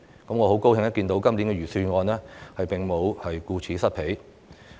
我很高興看到，今年的預算案並沒有顧此失彼。